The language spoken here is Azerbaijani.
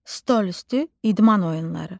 Stolüstü idman oyunları.